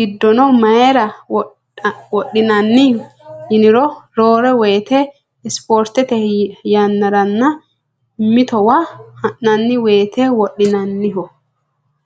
giddono mayira wodhinanni yiniro roore woyite isportete yannaranna mitowa ha'nanni woyite wodhinanniho.